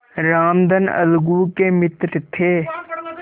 रामधन अलगू के मित्र थे